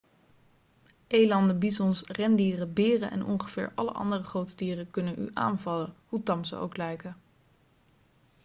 elanden bizons rendieren beren en ongeveer alle andere grote dieren kunnen u aanvallen hoe tam ze ook lijken